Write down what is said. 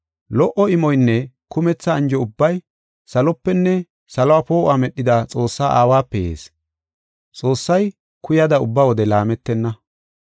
Lo77o imoynne kumetha anjo ubbay salopenne saluwa poo7uwa medhida Xoossaa aawape yees. Xoossay kuyada ubba wode laametenna.